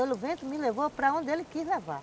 O vento me levou para onde ele quis levar.